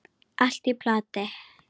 Allt í plati!